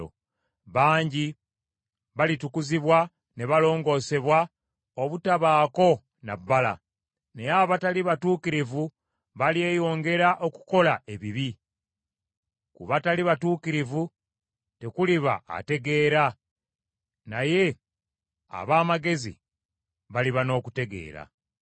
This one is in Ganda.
Bangi balitukuzibwa ne balongoosebwa obutabaako na bbala, naye abatali batuukirivu balyeyongera okukola ebibi. Ku batali batuukirivu tekuliba ategeera, naye ab’amagezi baliba n’okutegeera.